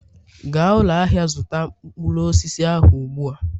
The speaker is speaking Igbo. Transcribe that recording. gaa ụlọ ahịa zụta mkpụrụ osisi ahụ ugbu a!